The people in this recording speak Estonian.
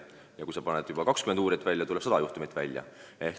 Ja kui sa rakendad juba 20 uurijat, tuleb välja 100 juhtumit.